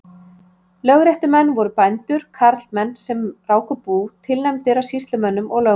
Lögréttumenn voru bændur, karlmenn sem ráku bú, tilnefndir af sýslumönnum og lögmönnum.